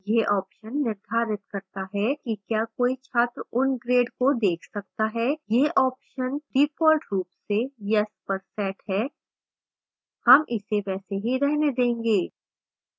यह option निर्धारित करता है कि क्या कोई छात्र उन grades को देख सकता है